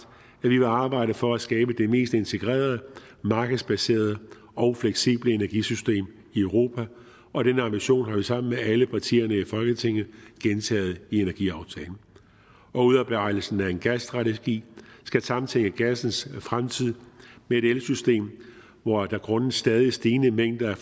at vi vil arbejde for at skabe det mest integrerede markedsbaserede og fleksible energisystem i europa og den ambition har vi sammen med alle partierne i folketinget gentaget i energiaftalen udarbejdelsen af en gasstrategi skal samtænke gassens fremtid med et elsystem hvor der grundet stadig stigende mængder